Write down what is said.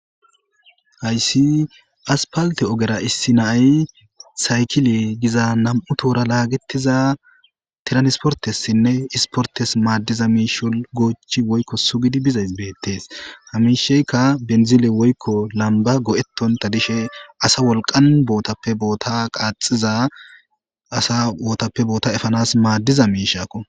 hayssi aspalte ogera issi naay saykile giza nam7u toora laagettiza tiransportessinne isportes maaddiza miisho goochi woykko sugidi bizays beettees hamisheykka benzile woykko lamba go7etonta dishe asa wolqan bootappe boota qaaxiza asa wootappe boota efanas maaddiza miishakko